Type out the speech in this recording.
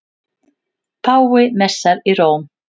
Páfi messar í Róm